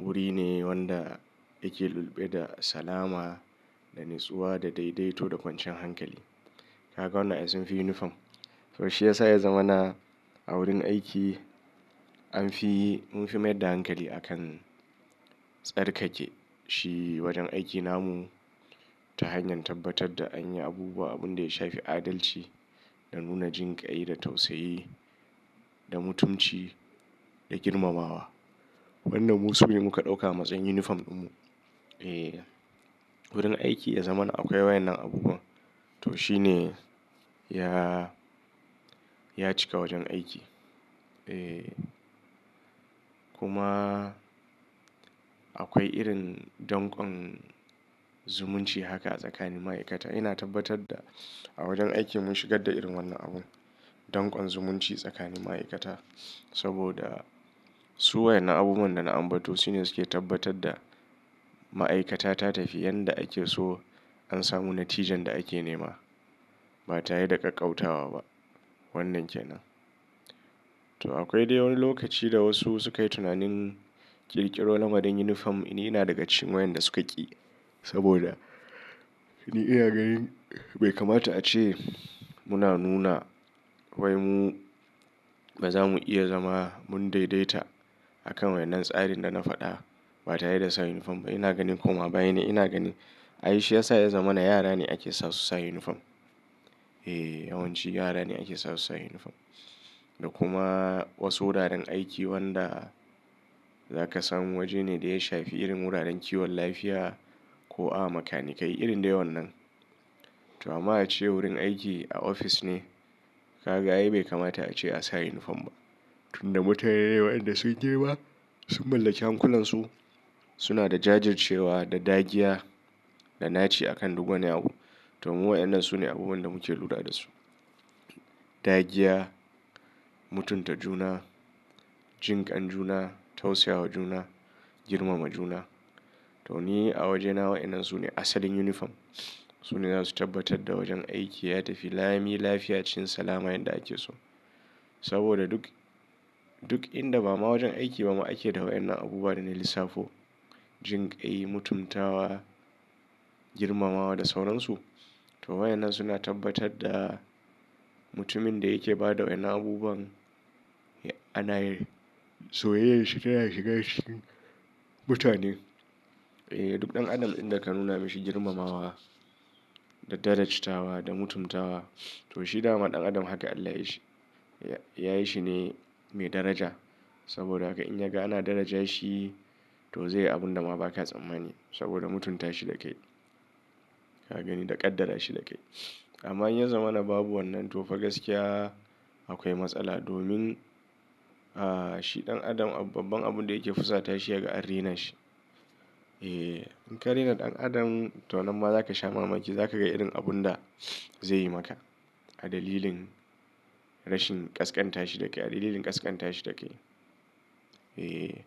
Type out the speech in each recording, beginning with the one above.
wuri ne wanda ake lulluɓe da salama da natsuwa da daidaito da kwancan hankali. Kaga wannan ai sunfi yunifom. To shi ya sa ya zama na a wurin aiki anfi munfi mai da hankali a kan tsarkake shi wajen aiki namu ta hanyar tabbatar da an yi abubuwa abun da ya shafi adalci da nuna jinƙai da tausayi da mutunci da girmamawa. Wannan mu su ne muka ɗauka a matsayin yunifom ɗinmu. E, wurin aiki ya zama na akwai wayan nan abubuwa. To shi ne ya, ya cika wajen aiki. E kuma akwai irin donƙon zumunci haka a tsakanin ma'aikata. Ina tabbatar da a wajen aiki mun shigar da irin wannan abun donƙon zumunci tsakanin ma'aikata. Saboda su wayan na abubuwan da na ambato su ne suke tabbatar da ma'aikata ta tafi yadda ake so an samu natijan da ake nema. Ba ta yi da ƙaƙƙautawa ba wannan kenan. To akwai dai wani lokaci da wasu suka yi tunanin ƙirƙiro nan waɗannan yunifom ina daga cin wayan da suka ƙi. Saboda ni iya ganin bai kamata a ce muna nuna wai mu ba za mu iya zama mun daidaita a kan wannan tsarin da na faɗa ba ta yi da sa yunifom ba. Ina ganin kuma bane ina gani ai shi ya sa ya zama na yara ne ake sa su sa yunifom. E, yawanci yara ne ake sa su sa yunifom. Da kuma wasu wuraren aiki wanda za ka samu waje ne da ya shafi irin wuraren kiwon lafiya ko a makanikai irin dai wannan. To amma a ce wurin aiki a ofis ne ka ga ai bai kamata a ce a sa yunifom ba. Tunda mutane ne wayan da sun je ba sun mallaki hankulansu. Suna da jajircewa da dagiya da naci a kan duk wani abu. To mu wayan nan su ne abubuwan da muke lura da su. Dagiya, mutunta juna, jinƙan juna, tausayawa juna, girmama juna. To ni a wajena wayan nan su ne asalin yunifom. Su ne za su tabbatar da wajen aiki ya tafi lami lafiya cin salama yadda ake so. Saboda duk, duk inda ba ma wajen aiki ba ma ake da wayan nan abubuwa da na lissafo. Jinƙai, mutumtawa, girmamawa da sauransu. To wayan nan suna tabbatar da mutumin da yake ba da wayan abubuwan ana so yayi shi taya shiga cikin mutane. E duk ɗan adam inda ka nuna mishi girmamawa da dadajitawa da mutumtawa to shi dama ɗan adam haka Allah yayi shi. Yayi shi ne mai daraja. Saboda haka in yaga ana daraja shi to zai yi abun da ma ba ka tsammani. Saboda mutunta shi da kai. Ka gani da ƙaddara shi da kai. Amma in ya zama na babu wannan to fa gaskiya akwai matsala. Domin, ah, shi ɗan adam babban abun da yake fusata shi ya ga an rena shi. E in ka rena ɗan adam to nan ma za ka sha mamaki. Za ka ga irin abun da zai yi maka. A dalilin rashin ƙasƙanta shi da kai. A dalilin ƙasƙanta shi da kai. E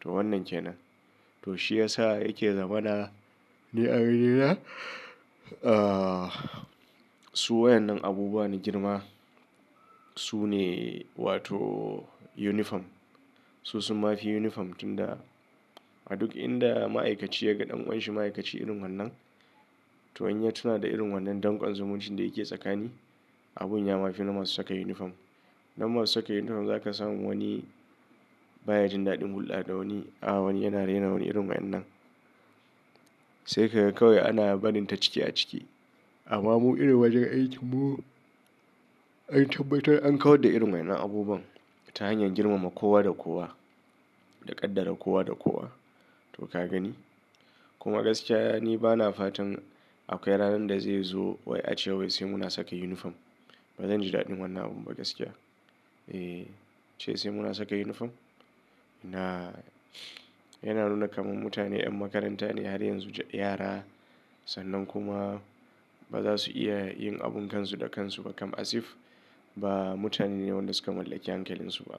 to wannan kenan. To shi ya sa yake zama na ni a wurina. Su wayan nan abubuwa na girma su ne wato yunifom. Su sun ma fi yunifom tunda a duk inda ma'aikaci ya ga ɗan ƙanshi ma'aikaci irin wannan to an yi tunada irin wannan donƙon zumuncin da yake tsakani abun ya ma fi na masu saka yunifom. Nan masu saka yunifom za ka samu wani baya jin daɗin hulɗa da wani. A wani yana rena wani irin wayan nan. Sai ka ga kawai ana barinta ciki a ciki. Amma mu irin wajen aikinmu an tabbatar an kawar da irin wayan nan abubuwan ta hanyar girmama kowa da kowa. Da ƙaddara kowa da kowa. To ka gani? Kuma gaskiya ni bana fatan akwai ranar da zai zo wai a ce wai sai mu na saka yunifom. Ba zan ji daɗin wannan abun ba gaskiya. E ce sai mu na saka yunifom? Na yana nuna kaman mutane ƴan makaranta ne har yanzu ji yara. Sannan kuma ba za su iya yin abun kansu da kansu ba kam asif ba mutane ne waɗanda suka mallaki hankalinsu ba.